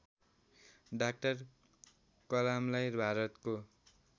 doctor कलामलाई भारतको